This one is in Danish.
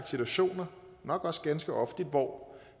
situationer nok også ganske ofte hvor